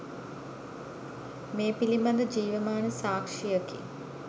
මේ පිළිබඳ ජීවමාන සාක්ෂියකි